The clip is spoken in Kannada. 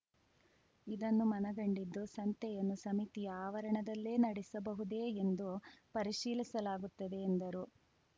ಇದನ್ನು ಮನಗಂಡಿದ್ದು ಸಂತೆಯನ್ನು ಸಮಿತಿಯ ಆವರಣದಲ್ಲೇ ನಡೆಸಬಹುದೇ ಎಂದು ಪರಿಶೀಲಿಸಲಾಗುತ್ತದೆ ಎಂದರು